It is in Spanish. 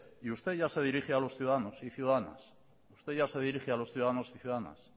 y usted ya se dirige a los ciudadanos y ciudadanas usted ya se dirige a los ciudadanos y ciudadanas